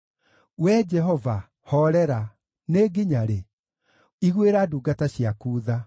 Wee Jehova, hoorera! Nĩ nginya rĩ? Iguĩra ndungata ciaku tha.